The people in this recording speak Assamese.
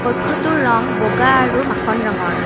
কক্ষটোৰ ৰং বগা আৰু মাখন ৰঙৰ।